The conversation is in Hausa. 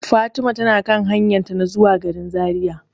Fatima tana kan hanyan zuwa garin Zariya.